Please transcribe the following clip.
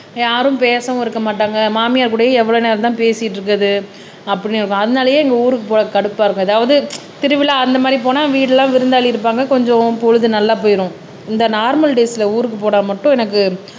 யாரும் பேசவும் இருக்க மாட்டாங்க மாமியார் கூடயும் எவ்வளவு நேரம் தான் பேசிட்டு இருக்குறது அப்படின்னு அதனாலயே எங்க ஊருக்கு போறதுக்கு கடுப்பா இருக்கு ஏதாவது திருவிழா அந்த மாதிரி போனா வீடு எல்லாம் விருந்தாளி இருப்பாங்க கொஞ்சம் பொழுது நல்லா போயிடும் இந்த நார்மல் டேஸ்ல ஊருக்கு போனா மட்டும் எனக்கு